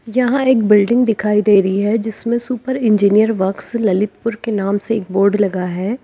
यहां एक बिल्डिंग दिखाई दे रही है जिसमें सुपर इंजीनियर वर्क्स ललितपुर के नाम से एक बोर्ड लगा है।